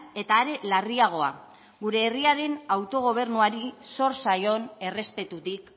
eta are larriagoa gure herriaren autogobernuari sor zaion errespetutik